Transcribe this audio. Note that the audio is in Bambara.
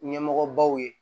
Ɲɛmɔgɔbaw ye